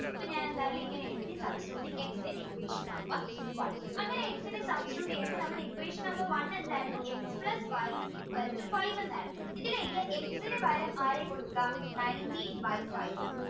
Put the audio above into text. ഇപ്പൊ ഞാൻ എന്തായാലും ഇങ്ങനെ എഴുതി substituting x in equation number one അങ്ങനെ X നെ substitute ചെയ്യുമ്പോൾ നമ്മുടെ equation number one എന്തായിരുന്നു x plus y is equal to five എന്നായിരുന്നു ഇതിലെ X ന് പകരം ആര്യ കൊടുക്കാ nineteen by five